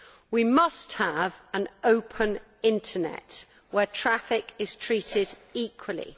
We must have an open internet where traffic is treated equally.